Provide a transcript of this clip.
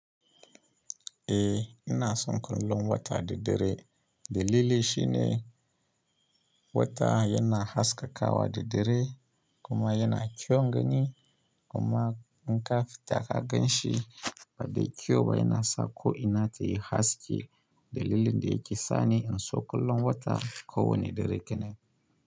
Eh ina son kullum wata da dare dalili shi ne wata yana haskakawa da dare kuma yana kyaun gani kuma in kafita ka gan shi fa dai kyau ba yana sa ko ina ta yi haske dalilin da yake sani in so kullum wata ko wane dare kenan.